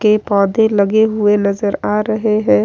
के पौधे लगे हुए नजर आ रहे हैं।